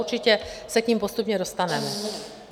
Určitě se k nim postupně dostaneme.